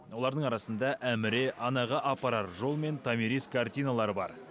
олардың арасында әміре анаға апарар жол мен томирис картиналары бар